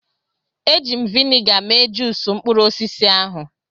Eji m vịnịga mee juusu mkpụrụ osisi ahụ.